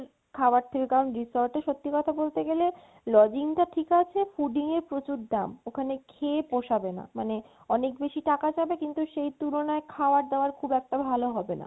খাবার resort এ সত্যি কথা বলতে গেলে lodging টা ঠিক আছে fooding এ প্রচুর দাম। ওখানে খেয়ে পোষাবে না মানে অনেক বেশি টাকা যাবে সেই তুলনায় খাবার দাবার খুব একটি ভালো হবে না